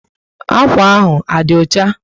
Akwa ahụ á dí ọchá?